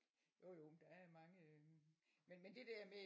Jo jo der er mange øh men men det der med